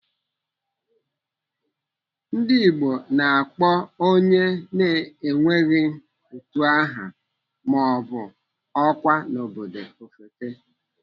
Ndigbo na-akpọ onye na-enweghị utu aha maọbụ ọkwa n'obodo ofeke.